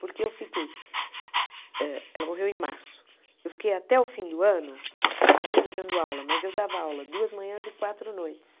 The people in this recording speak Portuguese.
Porque eu fiquei, hã ela morreu em março, eu fiquei até o fim do ano ainda dando aula, mas eu dava aula duas manhãs e quatro noites.